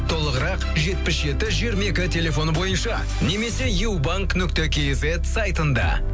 толығырақ жетпіс жеті жиырма екі телефоны бойынша немесе юбанк нүкте кизет сайтында